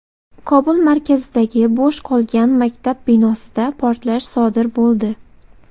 Kobul markazidagi bo‘sh qolgan maktab binosida portlash sodir bo‘ldi.